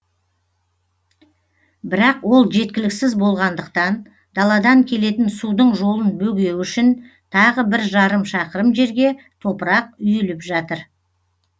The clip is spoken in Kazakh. бірақ ол жеткіліксіз болғандықтан даладан келетін судың жолын бөгеу үшін тағы бір жарым шақырым жерге топырақ үйіліп жатыр